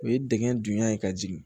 O ye dingɛn dunya ye ka jigin